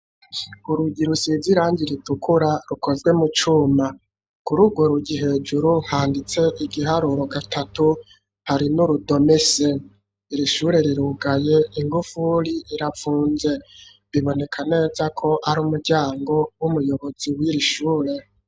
Urugi rusiz'Irangi ritukura ,rukozwe mu cuma kurugo rugi hejuru handitse igiharuro gatatu ,hari n'urudome C, i shure rirugaye igufuri irapfunze biboneka neza ko ari umuryango w'umuyobozi wiri shure.